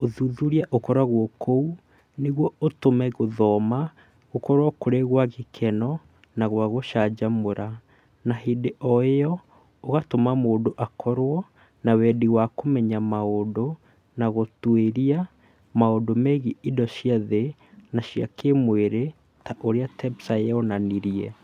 Ūthuthuria ũkoragwo kuo nĩguo ũtũme gũthoma gũkorũo kũrĩ kwa gĩkeno na kwa gũcanjamũra, na hĩndĩ o ĩyo ũgatũma mũndũ akorũo na wendi wa kũmenya maũndũ na gũtuĩria maũndũ megiĩ indo cia thĩ na cia kĩĩmwĩrĩ ta ũrĩa TEPSA yonanirie